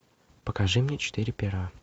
покажи мне четыре пера